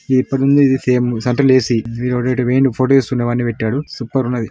ఇప్పటినుండి ఇది fame central A C వీడు ఎటో పోయిండు ఫోటో తీస్తుంటే ఇవన్నీ పెట్టాడు సూపర్ ఉన్నది.